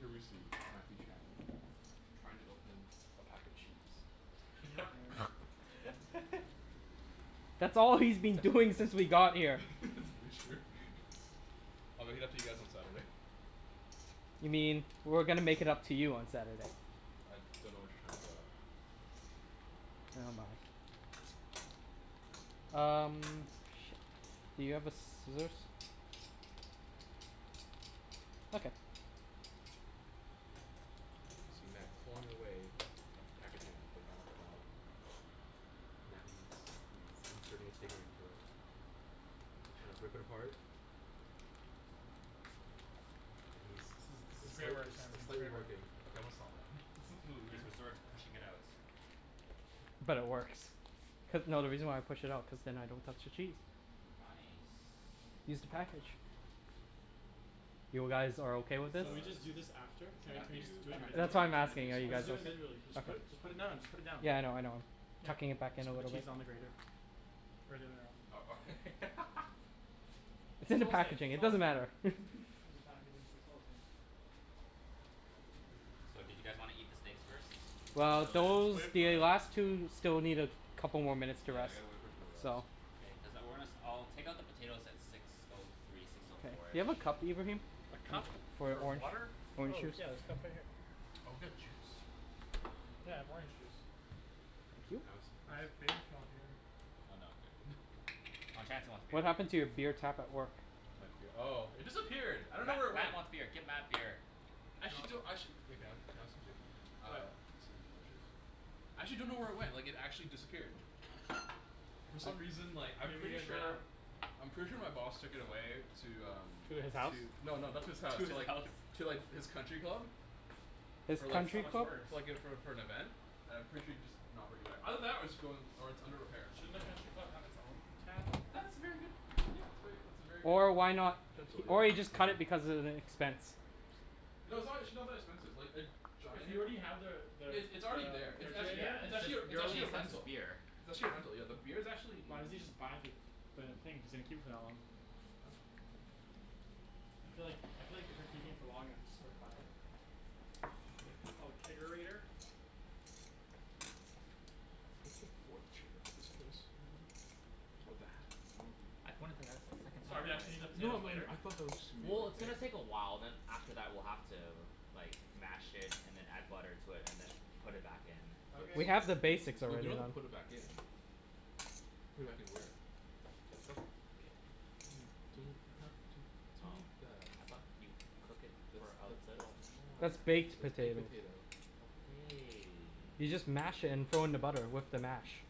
Here we see Matthew Chan, trying to open a pack of cheese. Can you not narrate? That's all he's been doing since we got here. That's very true. I'll make it up to you guys on Saturday. You mean we're gonna make it up to you on Saturday. I dunno what you're talking about. Nevermind. Um, where is the thing? Do you have the scissors? I got it. You see Matt clawing away at the packaging of the Grana Padano. Now he's- he's entering his steak knife into it. He trying to rip it apart. And he's This is- this is it's great slight- work Chan, it's it's slightly great work. working. Okay, I'm gonna stop now, this is really He's weird. sort to pushing it out. But it works. Cuz- no, the reason why I pushed it out cuz then I don't touch the cheese. Nice. Just the package. You guys are okay with It's, this? So uh, we this just do this is after? Can we- can we just Matthew do it tryin'- That's individually? why I'm tryin' to be asking, a are you smart Let's guys just ass. do o- it individually. Just put- just put it now, just put it down. okay?.Yeah I know I know. Tucking it back you in a should put little bit. cheese on the grater. Is the other way around, uh-oh. cool. It's It's in the all the same, packaging, it's it all the doesn't same. matter. It's just packaging, so it's all the same. So, do you guys wanna eat the steaks first? Not Well really, those- wait for the it to rest. last two still need a couple more minutes to Yeah I rest, gotta wait for it to rest. so- K, Cuz I- we're gonna- I'll take out the potatoes at six O three, six O four. Do you have a cup, Ibrahim? A cup For for orange water? orange Oh juice. yeah there's cups right here. Oh, got juice? Yeah, I have orange juice. Can I have some? I have beer if you want beer. Oh, Chancey wants beer. What happened to your beer tap at work? My bee- Oh it disappeared I dunno Matt- where it Matt went. wants beer. Get Matt beer. Actually I do- Actually- Can I have- can I What? have some too? Actually dunno where it went, like it actually disappeared. For some reason, like, I'm Maybe you pretty guys ran out. sure- I'm pretty sure my boss took it away to, um. To his house? No, no, not to his house. To the Alps To like His his country country club? club. I was That's like for- so much worse. like for like - for- for an event. And I'm pretty sure he'd just not bring it back. Either that or it's going- or it's under repair. Shouldn't a country club have its own tap? That's a very good- , that's very that's a very good Or idea, why kind of not- potential, yeah. or he just cut it Thank you. because of the expense. No, it's actually not that expensive. Like a If giant- you already have the- the- it's already the there. It's actually- Yeah refrigerator. it's it's just actually a- it's your really actually a expensive rental. beer. It's actually a rental, yeah. The beer's actuall Why doesn't n- he just buy the- the thing if he's gonna keep it for that long? I'm like- - I feel like- I feel like if you're keeping it for long enough it's just worth buying it. Like it's called a Kegerator? chair for this place. I pointed that out to the second Sorry, I should eat the I- No potatoes no, later? I thought that was... Well it's gonna take a while, then after that we're gonna have to, like, mash it then add butter and then put it back in. Okay. We have the basics We already. don't have to put it back in. Put it back in there. You don't have to do that. I thought you cook it for a little more. That's baked Baked potatoes. potato. Okay. You just mash it and throw in the butter with the mash.